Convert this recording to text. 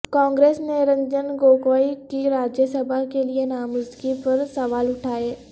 کانگریس نے رنجن گوگوئی کی راجیہ سبھا کے لیے نامزدگی پر سوال اٹھائے